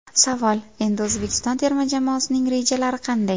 Savol: Endi O‘zbekiston terma jamoasining rejalari qanday?